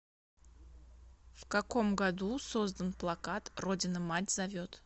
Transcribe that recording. в каком году создан плакат родина мать зовет